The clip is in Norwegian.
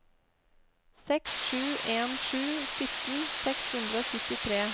seks sju en sju sytten seks hundre og syttitre